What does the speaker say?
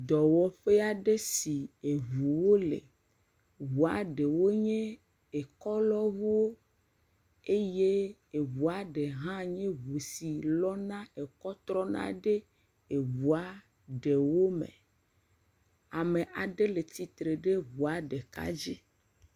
Dɔwɔƒe aɖe si ŋuwo le, ŋua ɖewo nye kelɔŋuwo eye ŋua ɖe hã nye ŋu si lɔna ke trɔna ɖe eŋua ɖewo me. Ame aɖe le tsitre ɖe ŋua ɖeka dzi.